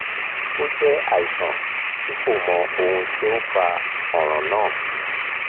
ó jẹ́ àìsàn tí kò mọ ohun tó ń fa ọ̀ràn náà